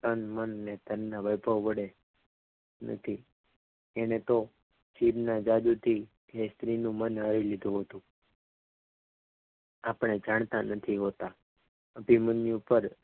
તન મન અને ધનના વૈભવ વડ એને તો છિદના જાદુ થી એ સ્ત્રીનું મનહરી લીધું હતું આપણે જાણતા નથી હોતા જે મનની ઉપર